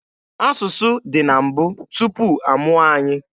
Asụsụ dị na mbụ, tupu amụọ anyị.